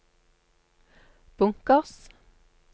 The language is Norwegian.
bunkers